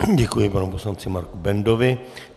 Děkuji panu poslanci Marku Bendovi.